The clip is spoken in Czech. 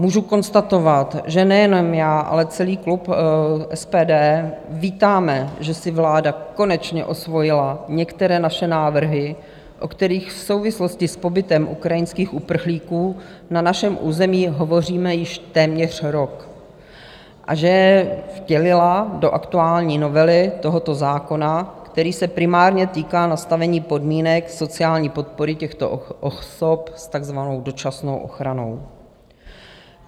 Můžu konstatovat, že nejenom já, ale celý klub SPD vítáme, že si vláda konečně osvojila některé naše návrhy, o kterých v souvislosti s pobytem ukrajinských uprchlíků na našem území hovoříme již téměř rok, a že je vtělila do aktuální novely tohoto zákona, který se primárně týká nastavení podmínek sociální podpory těchto osob s takzvanou dočasnou ochranou.